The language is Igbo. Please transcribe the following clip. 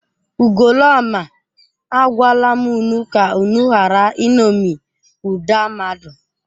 Ugoloọma, agwala m unu ka unu ghara iṅomi ụda mmadụ!